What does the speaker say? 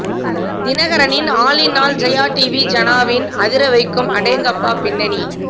தினகரனின் all in all Jaya TV ஜனாவின் அதிரவைக்கும் அடேங்கப்பா பின்னணி